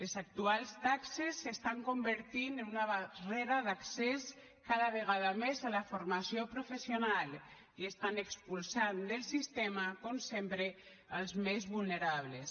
les actuals taxes s’estan convertint en una barrera d’accés cada vegada més a la formació professional i estan expulsant del sistema com sempre els més vulnerables